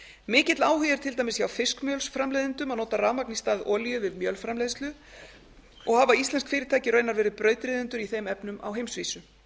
mikill áhugi er til dæmis hjá fiskmjölsframleiðendum að nota rafmagn í stað olíu við mjölframleiðslu og hafa íslensk fyrirtæki raunar verið brautryðjendur í þeim efnum á heimsvísu